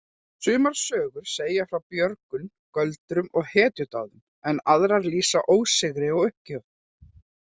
Sumar sögurnar segja frá björgun, göldrum og hetjudáðum en aðrar lýsa ósigri og uppgjöf.